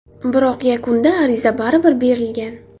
Biroq yakunda ariza baribir berilgan.